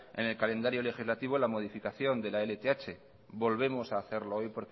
en el calendario legislativo la modificación de la lth lo volvemos a hacerlo hoy